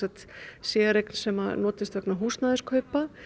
séreign sem nota til húsnæðiskaupa